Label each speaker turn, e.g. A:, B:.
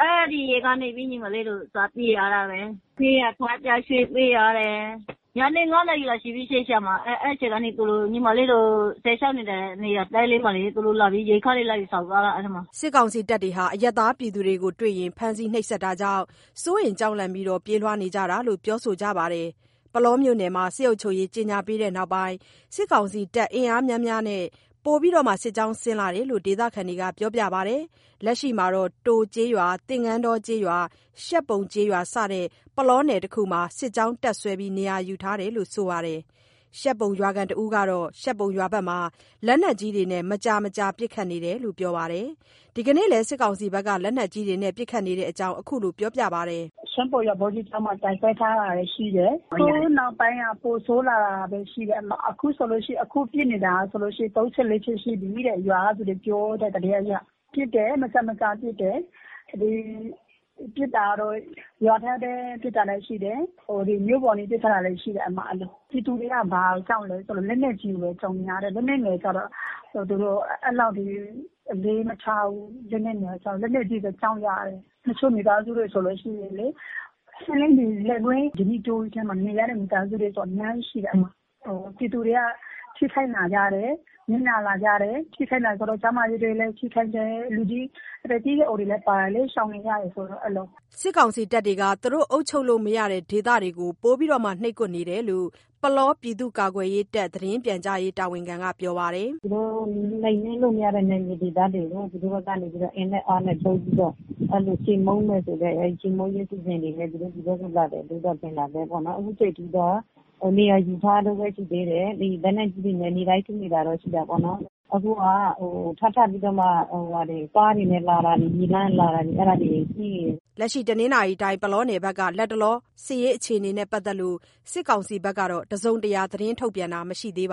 A: အဲ့ဒီ
B: ရက်ကနေပြီး ညီမလေးတို့ စပြေးရတာပဲ၊ ပြေးရ ထပ်ရွှေ့ပြေးရတယ်။(ပြီးတော့)ညနေ ၅နာရီလောက် ညီမလေး(အရင်)စစ်ရှောင်တဲ့ နေရာတဲလေမှ
A: ာ(စစ်တပ်တွေ)သူတို့လာပြီး အဲ့ထဲမှာ ရိက္ခာတွေလာယူဆောင်သွားတာ။” စစ်ကောင်စီတပ်တွေဟာ အရပ်သားပြည်သူတွေကို တွေ့ရင် ဖမ်းဆီးနှိပ်စက်တာကြောင့် စိုးရိမ် ကြောက်လန့်ပြီး ပြေးနေရတာလို့ ပြောဆိုကြပါတယ်။ ပုလောမြို့နယ်မှာ စစ်အုပ်ချုပ်ရေး ကြေညာပြီးနောက်ပိုင်း စစ်ကောင်စီတပ် အင်အားများများနဲ့ ပိုမို စစ်ကြောင်းဆင်းလာတယ်လို့ ဒေသခံတွေက ပြောပါတယ်။ လက်ရှိမှာ တိုကျေးရွာ၊ သင်္ကန်းတောကျေးရွာ၊ ရှပ်ပုံကျေးရွာ စတဲ့ ပုလောနယ်တစ်ခုလုံးမှာ စစ်ကြောင်း တပ်စွဲနေရာယူထားတယ်လို့ ဆိုပါတယ်။ ရှပ်ပုံရွာခံတစ်ဦးကတော့ ရှပ်ပုံရွာဘက်မှာ လက်နက်ကြီးတွေနဲ့ မကြာမကြာပစ်ခတ်နေတယ်လို့ ပြောပါတယ်။ ဒီနေ့လည်း စစ်ကောင်စီက လက်နက်ကြီးပစ်ခတ်နေတဲ့အကြောင်း ခုလို ပြောပါတယ်။ “
B: ရှပ်ပုံရွာ ဗော်ဓိကျောင်းမှာ တပ်စွဲထားတာတွေရှိတယ်။ အခုနောက်ပိုင်းက ပိုဆိုးလာတာပဲရှိတယ် အဲ့မှာ အခုပစ်နေတာဆိုလို့ရှိရင် ၃ချက် ၄ချက်ရှိပြီးတဲ့ ရွာကသူတွေ ပြောတဲ့သတင်းအရ။ ပစ်တယ် မကြာမကြာပစ်တယ် ဒီပစ်တာတော့ ရွာထဲ ပစ်တာလည်းရှိတယ် ဟို…မြို့ပေါ် ပစ်လာတာလည်းရှိတယ် အဲ့လို။ ပြည်သူတွေက ဘာကိုကြောက်လဲဆိုလို့ လက်နက်ကြီးကိုပဲ ကြောက်နေရတယ် လက်နက်ငယ်ကျတော့ အဲ့လောက်ထိ အလေမထားဘူး လက်နက်ငယ်ကျတော့ လက်နက်ကြီးပဲ ကြောက်ကြတယ်။ တချို့မိသားစုတွေ ဆိုလို့ရှိရင်လေ လယ်ကွင်း ဓနိတောကြီးထဲမှာ နေရတဲ့ မိသားစုတွေဆို အများကြီးရှိတယ် အဲ့မှာ ပြည်သူတွေက ထိခိုက် နစ်နာလာကြတယ် ထိခိုက်လာဆိုလို့ ကျန်းမာရေးဆိုလည်း ထိခိုက်တယ် အသက်ကြီးရွယ်အိုတွေလည်း ပါတယ်လေ ရှောင်နေရတယ်ဆိုတော့ အ
A: ဲ့လို။” စစ်ကောင်စီတပ်တွေက သူတို့ အုပ်ချုပ်လို့မရတဲ့ဒေသတွေကို ပိုမို နှိပ်ကွပ်နေတာလို့ ပုလောပြည်သူ့ကာကွယ်ရေးတပ် သတင်းပြန်ကြားရေးက ပြောပါတယ်။ “သူတို့ နှိမ်
B: နင်းလို့မရတဲ့ နယ်မြေဒေသတွေကို သူတို့ကနေပြီးတော့ အင်နဲ့အားနဲ့သုံးပြီးတော့ အဲ့လို ချေးမှုန်းမယ်ဆိုတဲ့ အဲ့ချေးမှုန်းခြင်းစီစဉ်တွေနဲ့ သူတို့လာတယ်လို့ပဲ ထင်တာပဲပေါ့နော်၊ အခုချိန်ထိတော့ နေရာယူထားတုန်းပဲရှိသေးတယ်၊ လက်နက်ကြီးတွေနဲ့ နေ့တိုင်း ပစ်နေတာတော့ ရှိတာပေါ့။ အခုက ထပ်ထပ်ပြီးတော့မှ ကားတွေနဲ့ လာတာ မြေလမ်းကတာတာ အဲ့ဒါတွေရှိနေတယ်။
A: ” ပုလောနယ်ဘက်က လတ်တလော စစ်ရေးအခြေအနေနဲ့ ပတ်သက်လို့ စစ်ကောင်စီဘက်က တစုံတရာ ထုတ်ပြန်တာမရှိသေးဘ